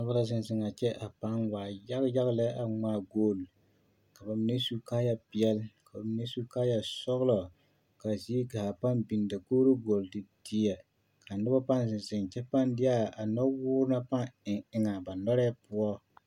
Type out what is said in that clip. Noba la zeŋ zeŋaa kyɛ a pãã waa yaga yaga lɛ a ŋmaa golli, ka bamine su kaaya peɛle, ka bamine su kaaya sɔgelɔ, k'a zie gaa pãã biŋ dakogiri gɔlle te teɛ ka noba pãã zeŋ kyɛ pãã deɛ nɔwoore na pãã eŋ eŋaa ba nɔrɛɛ poɔ.